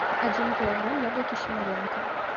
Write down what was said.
один килограмм яблоки симиренко